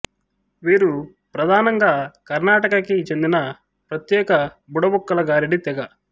వీరు ప్రధానంగా కర్ణాటక కి చెందిన ప్రత్యేక బుడబుక్కల గారడీ తెగ